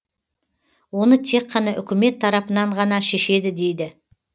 оны тек қана үкімет тарапынан ғана шешеді дейді